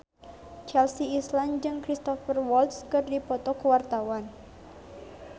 Chelsea Islan jeung Cristhoper Waltz keur dipoto ku wartawan